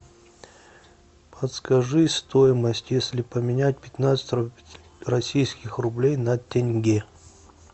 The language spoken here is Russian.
подскажи стоимость если поменять пятнадцать российских рублей на тенге